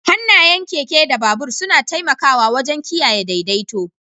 Hannayen keke da babur suna taimakawa wajen kiyaye daidaito.